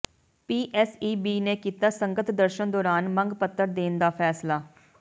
PSEB ਨੇ ਕੀਤਾ ਸੰਗਤ ਦਰਸ਼ਨ ਦੌਰਾਨ ਮੰਗ ਪੱਤਰ ਦੇਣ ਦਾ ਫੈਸਲਾ